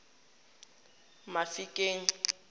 mafikeng